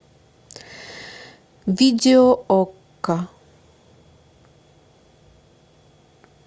видео окко